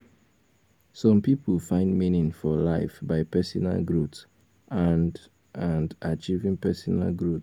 some pipo find meaning for life by personal growth and and achieving personal growth